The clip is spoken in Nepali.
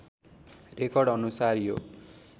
रेकर्ड अनुसार यो